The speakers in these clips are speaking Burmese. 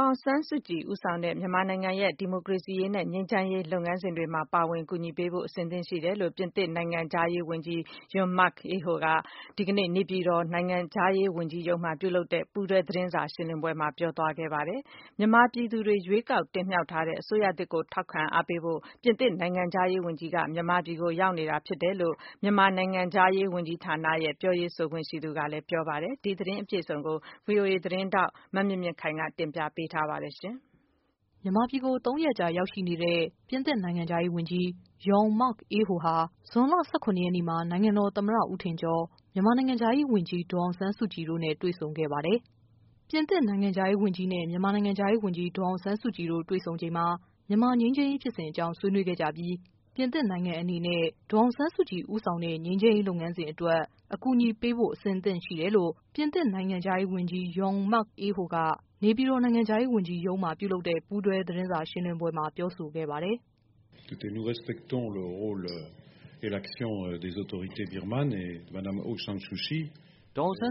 ောင်ဆန်းစုကြည် ဦးဆောင်တဲ့ မြန်မာနိုင်ငံရဲ့ ဒီမိုကရေစီရေးနဲ့ ငြိမ်းချမ်းရေး လုပ်ငန်းစဉ်တွေမှာ ပါဝင်ကူညီပေးဖို့ အဆင်သင့်ရှိတယ် လို့ ပြင်သစ်နိုင်ငံခြားရေး ဝန်ကြီး Jean- Marc Ayrault က ဒီကနေ့ နေပြည်တော် နိုင်ငံခြားရေး ဝန်ကြီးရုံး မှာ ပြုလုပ်တဲ့ ပူးတွဲ သတင်းစာ ရှင်းလင်းပွဲမှာ ပြောဆိုလိုက်ပါ တယ်။ မြန်မာပြည်သူတွေ ရွေးကောက် တင်မြှောက်ထားတဲ့ အစိုးရသစ် ကို ထောက်ခံအားပေးဖို့ အတွက် ပြင်သစ် နိုင်ငံခြားရေးဝန်ကြီး ဟာ မြန်မာပြည်ကိုရောက်ရှိနေတာ လို့ မြန်မာ နိုင်ငံခြားရေး ဝန်ကြီးဌာန ရဲ့ ပြောရေးဆိုခွင့်ရှိသူကပြောပါတယ်။ ဒီသတင်း အပြည့်အစုံကို ဗွီအိုအေ သတင်းထောက် မမြင်မြင့်ခိုင်က တင်ပြထားပါတယ်။ မြန်မာပြည်ကို ၃ရက်ကြာရောက်ရှိနေတဲ့ ပြင်သစ်နိုင်ငံခြားရေးဝန်ကြီး Jean-Marc Ayrault ဟာ ဇွန်လ ၁၇ရက်နေ့မှာ နိုင်ငံတော်သမ္မတ ဦးထင်ကျော် ၊ မြန်မာနိုင်ငံခြားရေးဝန်ကြီး ဒေါ်အောင်ဆန်း စုကြည်တို့ နဲ့ တွေ့ဆုံခဲ့ပါတယ်။ ပြင်သစ်နိုင်ငံခြားရေးဝန်ကြီးနဲ့ မြန်မာနိုင်ငံခြားရေးဝန်ကြီးဒေါ်အောင်ဆန်းစုကြည် နဲ့ တွေ့ဆုံချိန်မှာ မြန်မာ ငြိမ်းချမ်းရေး လုပ်ငန်းစဉ် အကြောင်းဆွေးနွေး ခဲ့ကြပြီး ပြင်သစ်နိုင်ငံအနေနဲ့ ဒေါ်အောင်ဆန်းစုကြည် ဦးဆောင်တဲ့ ငြိမ်းချမ်းရေး လုပ်ငန်းစဉ်အတွက် အကူညီပေးဖို့ အဆင်သင့်ရှိတယ် လို့ ပြင်သစ်နိုင်ငံခြားရေး ဝန်ကြီး Jean- Marc Ayrault က နေပြည်တော် နိုင်ငံခြားရေးဝန်ကြီးရုံးမှာ ပြုလုပ်တဲ့ ပူးတွဲသတင်း စာရှင်းလင်းပွဲမှာပြောဆိုခဲ့ပါတယ်။ "ဒေါ်အောင်ဆန်း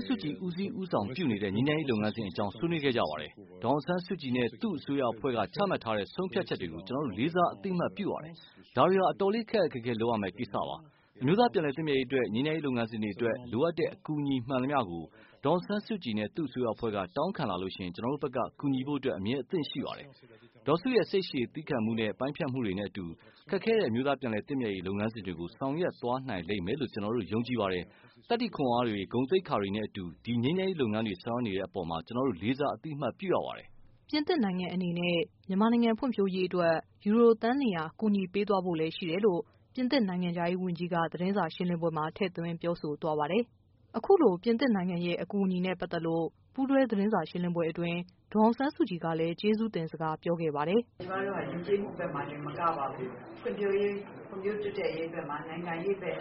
စုကြည်ဦးစီးဦးဆောင်ပြုနေတဲ့ ငြိမ်းချမ်းရေးလုပ်ငန်းစဉ် အကြောင်း ဆွေးနွေးခဲ့ကြပါတယ်။ ဒေါ်အောင်ဆန်းစုကြည်နဲ့ သူ့အစိုးရအဖွဲ့က ချမှတ်ထားတဲ့ ဆုံးဖြတ်ချက်တွေကို ကျနော်တို့ လေးစားအသိ အမှတ်ပြုပါတယ်။ ဒါတွေဟာအတော်လေးခက်ခက်ခဲခဲလုပ်ရမယ့်ကိစ္စ္စပါ။ အမျိုးသားပြန်လည် သင့်မြတ်ရေး အတွက် ငြိမ်းချမ်းရေး လုပ်ငန်းစဉ်တွေအတွက် လိုအပ်တဲ့ အကူအညီမှန်သမျှ ဒေါ်အောင်ဆန်းစုကြည်နဲ့ သူ့အစိုးရ အဖွဲ့က တောင်းခံလာရင် ကျနော်တို့ဘက်က ကူညီဖို့ အမြဲအသင့်ရှိ ပါတယ်။ ဒေါ်စုရဲ့ စိတ်ရှည်သည်းခံမှုနဲ့ ပိုင်းဖြတ်မှုတွေနဲ့ အတူ၊ ခက်ခဲတဲ့ အမျိုးသားပြန်လည် သင့်မြတ်ရေး လုပ်ငန်းစဉ်တွေကို ဆောင်ရွက်သွားနိုင်လိမ့်မယ်လို့ ကျနော်တို့ယုံကြည်ပါတယ်။ သတ္တိခွန်အားတွေ၊ ဂုဏ်သိက္ခာတွေနဲ့အတူ ဒီငြိမ်းချမ်းရေး လုပ်ငန်းတွေ ဆောင်ရွက်နေတဲ့ အပေါ်ကျနော်တို့လေးစား အသိအမှတ်ပြုရပါတယ်။" ပြင်သစ်နိုင်ငံအနေနဲ့ မြန်မာနိုင်ငံဖွံဖြိုးရေးအတွက် ယူရိုသန်း ၂၀၀ ကူညီပေးသွားဖို့ လည်း ရှိတယ်လို့ ပြင်သစ် နိုင်ငံခြားရေးဝန်ကြီးက သတင်းစာ ရှင်းလင်းပွဲမှာ ထည့်သွင်းပြောဆိုသွားပါတယ်။ အခုလို ပြင်သစ်နိုင်ငံ အကူအညီနဲ့ပတ်သက်လို့ ပူးတွဲသတင်းစာရှင်းလင်းပွဲ အတွင်း ဒေါ်အောင်ဆန်းစုကြည်က လည်း ကျေးဇူးတင်စကားပြောခဲ့ပါတယ်။ "ကျမတို့ဟာ ယဉ်ကျေးမှုဘက်မှာတင် မကပါဘူး။ ဖွံ့ဖြိုးတိုးတက်ရေး ဘက်၊ နိုင်ငံရေးဘက်၊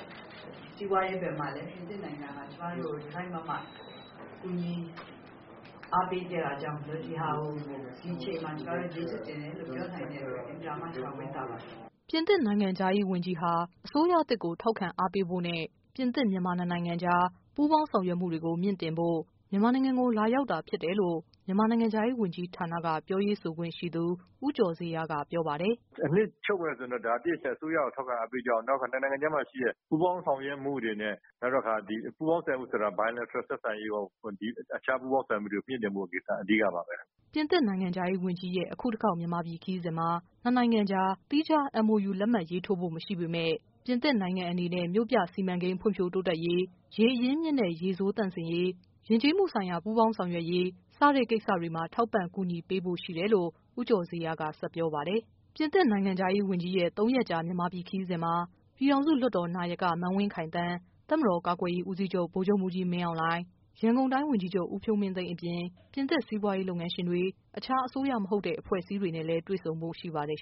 စီးပွားရေးဘက်မှာ ပြင်သစ်နိုင်ငံဟာ ကျမတို့ကို တစိုက်မတ်မတ် ကူညီအားပေးခဲ့တာမို့ ဒီဟာကို ဒီအချိန်မှာ ကျေးဇူးတင်တယ်လို့ ကျမတို့ပြောနိုင်ခဲ့တာကို အင်မတန်မှ ကျမ ဝမ်းသာပါတယ်။" ပြင်သစ်နိုင်ငံခြားရေးဝန်ကြီးဟာအစိုးရသစ်ကိုထောက်ခံအားပေးဖို့နဲ့ ပြင်သစ်- မြန်မာ နှစ်နိုင်ငံကြား ပူးပေါင်းဆောင်ရွက်မှုတွေ ကို မြှင့်တင်ဖို့ မြန်မာနိုင်ငံကို လာရောက်တာဖြစ် တယ်လို့ မြန်မာနိုင်ငံခြားရေး ဝန်ကြီးဌာနက ပြောရေးဆိုခွင့်ရှိသူ ဦးကျော်ဇေယျကပြောပါတယ်။ "အနှစ်ချုပ်မယ်ဆိုရင်တော့ တစ်အချက်က အစိုးရ ကို ထောက်ခံ အားပေးကြောင်း၊ နောက်တခါ နိုင်ငံခြားမှာ ရှိတဲ့ ပူးပေါင်းဆောင်ရွက်မှုတွေနဲ့ bilateral အခြားပူးပေါင်းဆောင်ရွက်ရေးတွေ ကို မြှင့်တင်ဖို့ ကိစ္စတွေ အဓိကပါပဲ။" ပြင်သစ်နိုင်ငံခြားရေးဝန်ကြီးရဲ့ အခုတခေါက် မြန်မာပြည် ခရီးစဉ်မှာ နှစ်နိုင်ငံကြား သီးခြား MOU လက် မှတ်ရေးထိုးဖို့ မရှိပေမယ့် ပြင်သစ်နိုင်ငံအနေနဲ့ မြို့ပြစီမံကိန်း ဖွံ့ဖြိုးတိုးတက်ရေး၊ ရေအရင်းအမြစ်နဲ့ ရေဆိုးသန့်စင်ရေး၊ ယဉ်ကျေးမှုဆိုင်ရာ ပူးပေါင်းဆောင်ရွက်ရေး စတဲ့ကိစ္စတွေမှာ ထောက်ပံ့ ကူညီပေးဖို့တော့ရှိတယ် လို့ ဦးကျော်ဇေယျက ဆက်ပြောပါတယ်။ ပြင်သစ်နိုင်ငံခြားရေးဝန်ကြီးရဲ့ ၃ရက်ကြာ မြန်မာပြည် ခရီးစဉ်မှာ ပြည်ထောင်စု လွှတ်တော် နာယက မန်းဝင်းခိုင်သန်း၊ တပ်မတော် ကာကွယ်ရေးဦးစီးချုပ် ဗိုလ်ချုပ်မှူးကြီးမင်းအောင်လှိုင်၊ ရန်ကုန်တိုင်း ဝန်ကြီးချုပ် ဦးဖြိုးမင်းသိန်း အပြင် ပြင်သစ်စီးပွားရေးလုပ်ငန်းရှင်တွေနဲ့ အခြားအစိုးရမဟုတ်တဲ့ အဖွဲ့ အစည်းတွေနဲ့လည်းတွေ့ဆုံဖို့ရှိပါတယ်